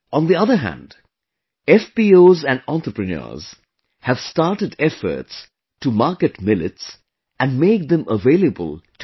On the other hand, FPOs and entrepreneurs have started efforts to market millets and make them available to people